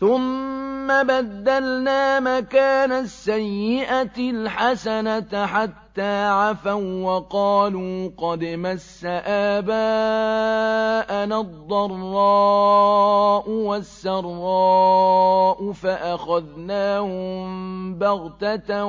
ثُمَّ بَدَّلْنَا مَكَانَ السَّيِّئَةِ الْحَسَنَةَ حَتَّىٰ عَفَوا وَّقَالُوا قَدْ مَسَّ آبَاءَنَا الضَّرَّاءُ وَالسَّرَّاءُ فَأَخَذْنَاهُم بَغْتَةً